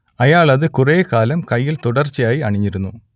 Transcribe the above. അയാൾ അത് കുറേക്കാലം കൈയ്യിൽ തുടർച്ചയായി അണിഞ്ഞിരുന്നു